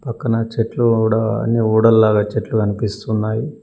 న చెట్లు గూడా అన్ని ఊడల్లాగా చెట్లు గనిపిస్తున్నాయి.